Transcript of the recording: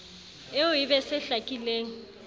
eo e be se hlakileng